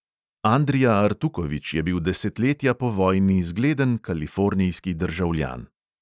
Andrija artukovič je bil desetletja po vojni zgleden kalifornijski državljan.